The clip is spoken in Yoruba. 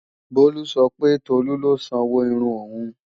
Bolu sọ pé Tolu ló sanwó irun òun